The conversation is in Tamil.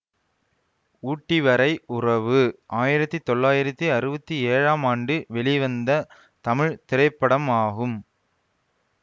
ஊட்டி வரை உறவு ஆயிரத்தி தொள்ளாயிரத்தி அறுவத்தி ஏழாம் ஆண்டு வெளிவந்த தமிழ் திரைப்படமாகும்